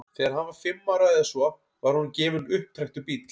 þegar hann var fimm ára eða svo var honum gefinn upptrekktur bíll